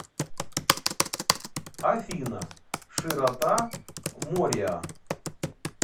афина широта мориа